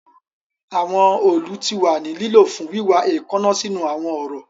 Awọn òòlù ti wa ni lilo fun wiwa eekanna sinu awọn ọrọ